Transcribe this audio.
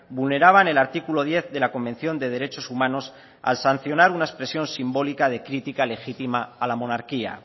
vulneraban el artículo diez de la convención de derechos humanos al sancionar una expresión simbólica de crítica legítima a la monarquía